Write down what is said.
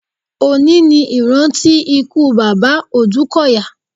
Òní ní ìrántí ikú bàbá Òdúkọ̀yà.